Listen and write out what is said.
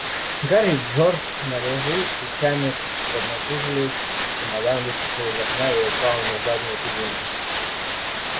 гарри и джордж налегли плечами поднатужились чемодан выскочил из окна и упал на заднее сиденье